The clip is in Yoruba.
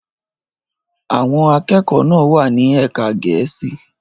Àwọn akẹ́kọ̀ọ́ náà wà ní ẹ̀ka Gẹ̀ẹ́sì.